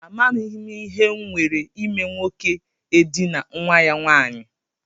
Amaghị m ihe nwere ime nwoke edinaa nwa ya nwanyị.